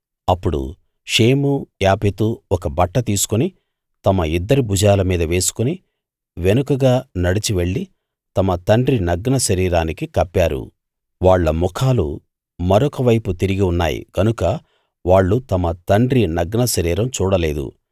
అప్పుడు Shem Japheth ఒక బట్ట తీసుకుని తమ ఇద్దరి భుజాల మీద వేసుకుని వెనుకగా నడిచివెళ్ళి తమ తండ్రి నగ్న శరీరానికి కప్పారు వాళ్ళ ముఖాలు మరొక వైపు తిరిగి ఉన్నాయి గనుక వాళ్ళు తమ తండ్రి నగ్న శరీరం చూడలేదు